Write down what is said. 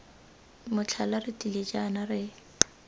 motlhala re tlile jaana re